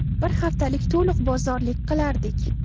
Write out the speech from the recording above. Bir haftalik to‘liq bozorlik qilardik.